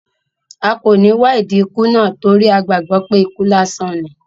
A kò ní wá ìdí ikú náà torí a gbàgbó pé ikú lásán ní